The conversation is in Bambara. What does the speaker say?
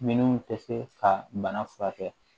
Minnu tɛ se ka bana furakɛ